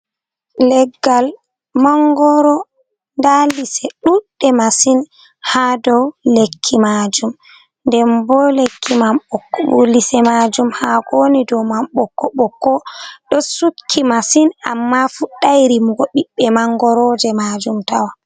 Leggal mangoro, nda lise ɗuɗɗe masin haa doo lekki maajum, nden bo lekki mam bok ko lise maajum haa ko woni do mam ɓokko ɓokko ɗo sukki masin, amma fuɗɗai rimugo ɓiɓɓe mangoroje maajum tawan.